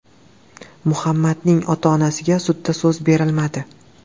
Muhammadning ota-onasiga sudda so‘z berilmadi.